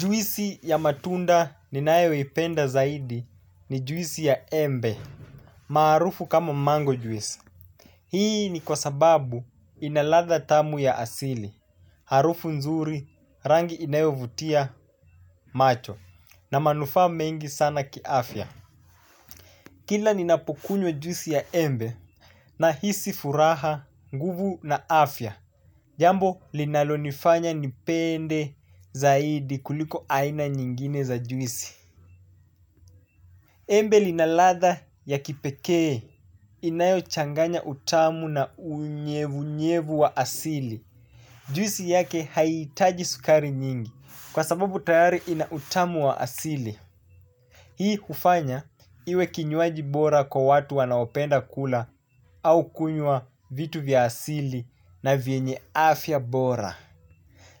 Juisi ya matunda ninayoipenda zaidi ni juisi ya embe, maarufu kama mango juice. Hii ni kwa sababu ina ladha tamu ya asili, harufu nzuri rangi inayovutia macho na manufaa mengi sana kiafya. Kila ninapokunywa juisi ya embe nahisi furaha nguvu na afya, jambo linalonifanya nipende zaidi kuliko aina nyingine za juisi. Embe lina ladha ya kipekee inayochanganya utamu na unyevunyevu wa asili. Juisi yake haihitaji sukari nyingi kwa sababu tayari ina utamu wa asili. Hii hufanya iwe kinywaji bora kwa watu wanaopenda kula au kunywa vitu vya asili na vyenye afya bora.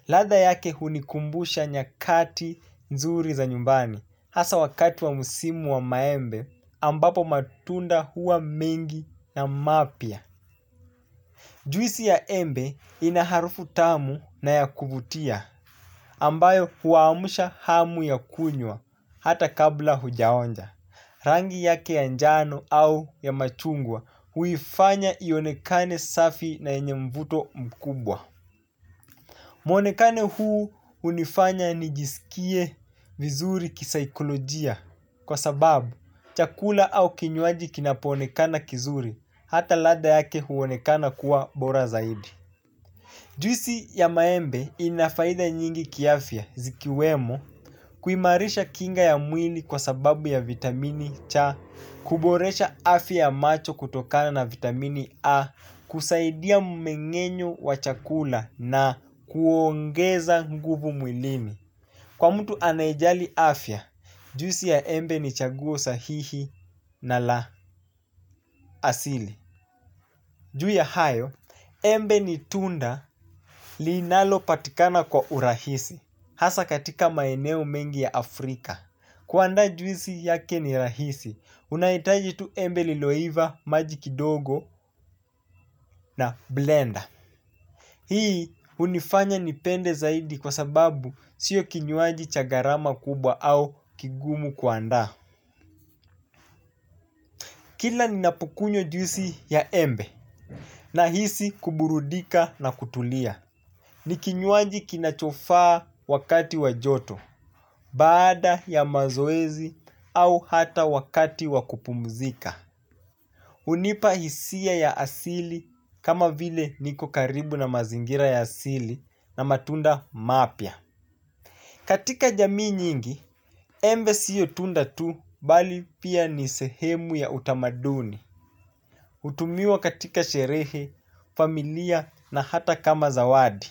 Ladha yake hunikumbusha nyakati nzuri za nyumbani. Hasa wakati wa msimu wa maembe ambapo matunda huwa mengi na mapya. Juisi ya embe ina harufu tamu na ya kuvutia ambayo huamsha hamu ya kunywa hata kabla hujaonja. Rangi yake ya njano au ya machungwa huifanya ionekane safi na yenye mvuto mkubwa. Mwonekano huu hunifanya nijiskie vizuri kisaikolojia kwa sababu chakula au kinywaji kinapoonekana kizuri hata ladha yake huonekana kuwa bora zaidi. Juisi ya maembe ina faida nyingi kiafya zikiwemo kuimarisha kinga ya mwili kwa sababu ya vitamini cha kuboresha afya ya macho kutokana na vitamini A kusaidia mmeng'enyo wa chakula na kuongeza nguvu mwilini. Kwa mtu anayejali afya juisi ya embe ni chaguo sahihi na la asili. Juu ya hayo, embe ni tunda linalo patikana kwa urahisi. Hasa katika maeneo mengi ya Afrika. Kwanza juisi yake ni rahisi, unahitaji tu embe liloiva, maji kidogo na blender. Hii hunifanya nipende zaidi kwa sababu sio kinywaji cha gharama kubwa au kigumu kuandaa. Kila ninapo kunywa juisi ya embe nahisi kuburudika na kutulia. Ni kinywaji kinachofaa wakati wa joto. Baada ya mazoezi au hata wakati wa kupumzika hunipa hisia ya asili kama vile niko karibu na mazingira ya asili na matunda mapya. Katika jamii nyingi, embe sio tunda tu bali pia ni sehemu ya utamaduni hutumiwa katika sherehe, familia na hata kama zawadi.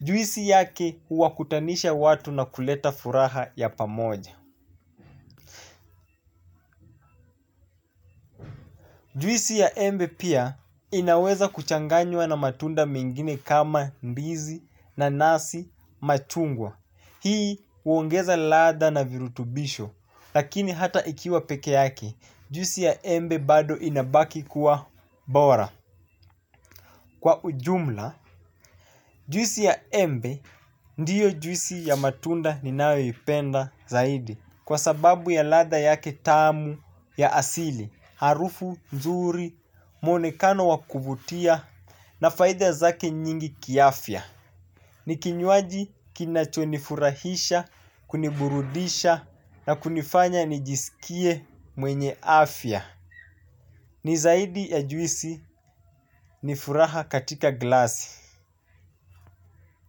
Juisi yake huwakutanisha watu na kuleta furaha ya pamoja. Juisi ya embe pia inaweza kuchanganywa na matunda mengine kama ndizi nanasi machungwa. Hii huongeza ladha na virutubisho. Lakini hata ikiwa peke yake juisi ya embe bado inabaki kuwa bora. Kwa ujumla, juisi ya embe ndiyo juisi ya matunda ninayoipenda zaidi kwa sababu ya ladha yake tamu ya asili, harufu, nzuri, mwonekano wa kuvutia na faida zake nyingi kiafya. Ni kinywaji kinachonifurahisha, kuniburudisha na kunifanya nijisikie mwenye afya. Ni zaidi ya juisi ni furaha katika glasi.